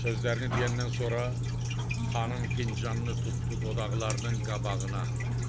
Sözlərini deyəndən sonra xanım fincanını tutdu dodaqlarının qabağına.